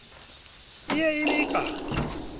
e ye e be ka